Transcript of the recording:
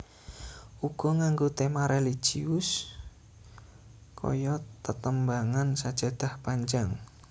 Uga nganggo tema religius kaya tetembangan Sajadah Panjang